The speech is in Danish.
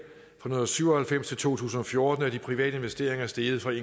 fra nitten syv og halvfems til to tusind og fjorten er de private investeringer steget fra